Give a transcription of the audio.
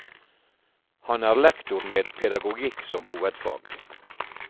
Han er lektor med pedagogikk som hovedfag.